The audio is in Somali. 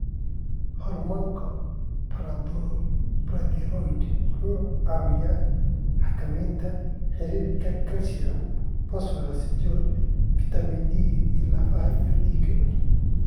Hormoonka Parathyroid wuxuu caawiyaa xakameynta heerarka calcium, fosfooraska, iyo fitamiin D ee lafaha iyo dhiigga.